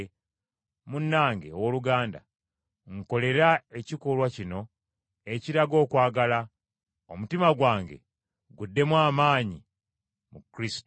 Munnange owooluganda, nkolera ekikolwa kino ekiraga okwagala, omutima gwange guddemu amaanyi mu Kristo.